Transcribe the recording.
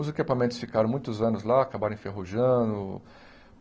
Os equipamentos ficaram muitos anos lá, acabaram enferrujando.